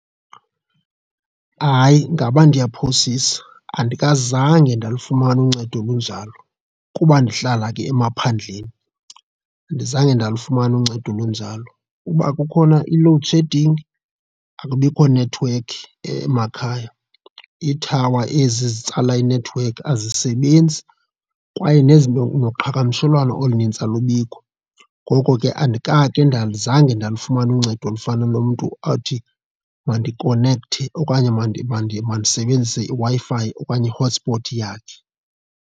Hayi, ngaba ndiyaphosisa zange ndalifumana uncedo olunjalo kuba ndihlala ke emaphandleni, andizange ndalifumana uncedo olunjalo. Uba kukhona i-load shedding, akubikho nethiwekhi emakhaya. Iithawa ezi zitsala inethiwekhi azisebenzi kwaye nezinto, noqhagamshelwano olunintsi alubikho, ngoko ke andikake azange ndalufumana uncedo olufana nomntu othi mandikonekthe okanye mandisebenzise iWi-Fi okanye i-hotspot yakhe.